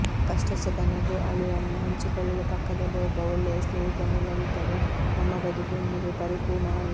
ಕಷ್ಟ ಸುಖ ನಗು ಅಳು ವನ್ನು ಹಂಚಿಕೊಳ್ಳಲು ಪಕ್ಕದಲ್ಲಿ ಒಬ್ಬ ಒಳ್ಳೆಯ ಸ್ನೇಹಿತನಿಲ್ಲದಿದ್ದರೆ ನಮ್ಮ ಬದುಕು ಎಂದಿಗೂ ಪರಿಪೂರ್ಣವಲ್ಲ